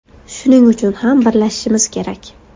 Shuning uchun ham birlashishimiz kerak.